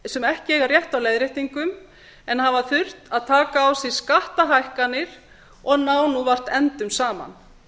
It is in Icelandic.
sem ekki eiga rétt á leiðréttingum en hafa þurft að taka á sig skattahækkanir og ná nú vart endum saman